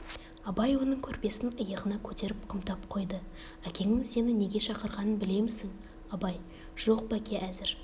абай оның көрпесін иығына көтеріп қымтап қойды әкеңнің сені неге шақырғанын білемісің абай жоқ бәке әзір